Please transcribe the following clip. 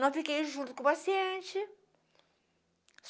Não fiquei junto com o paciente.